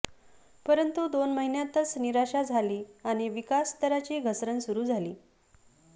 परंतु दोन महिन्यांतच निराशा झाली आणि विकास दराची घसरण सुरू झाली